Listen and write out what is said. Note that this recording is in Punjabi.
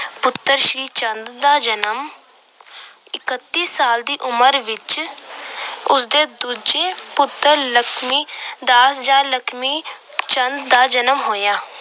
ਪੁੱਤਰ ਸ੍ਰੀ ਚੰਦ ਦਾ ਜਨਮ, ਇੱਕਤੀ ਸਾਲ ਦੀ ਉਮਰ ਵਿੱਚ ਉਸਦੇ ਦੂਜੇ ਪੁੱਤਰ ਲਖਮੀ ਜਾਂ ਲਖਮੀ ਚੰਦ ਦਾ ਜਨਮ ਹੋਇਆ।